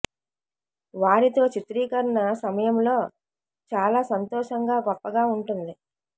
వారితో చిత్రీకరణ సమ యంలో చాలా సంతోషంగా గొ ప్పగా ఉంటుంది